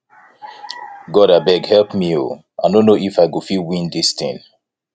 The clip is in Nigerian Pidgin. god abeg help me oo i no know if i go fit win dis thing